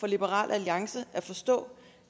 liberal alliance at forstå